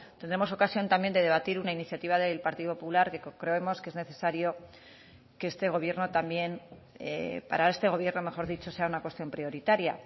tendremos ocasión también de debatir una iniciativa del partido popular que creemos que es necesario que este gobierno también para este gobierno mejor dicho sea una cuestión prioritaria